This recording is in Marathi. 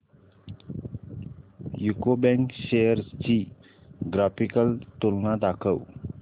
यूको बँक शेअर्स ची ग्राफिकल तुलना दाखव